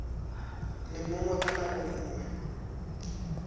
le mongwe ka nako nngwe